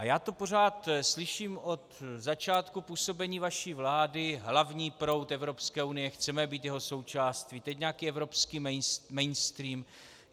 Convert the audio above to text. A já to pořád slyším od začátku působení vaší vlády, hlavní proud Evropské unie, chceme být jeho součástí, teď nějaký evropský mainstream.